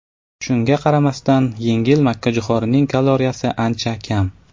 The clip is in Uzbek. Shunga qaramasdan, yengil makkajo‘xorining kaloriyasi ancha kam.